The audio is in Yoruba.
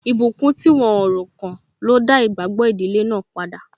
Ìbùkún tí wọ́n o ro kàn ló dá igbagbo ìdílé náà padà.